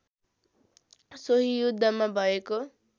सोही युद्धमा भएको